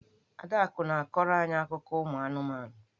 Adaku na-akọrọ any akụkọ ụmụ anụmanụ.